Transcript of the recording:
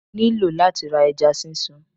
Mo nílò láti ra ẹja sísun